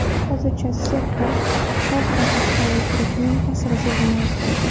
Hozircha sektor sa’y-harakatida guruhning ta’siri sezilmayapti.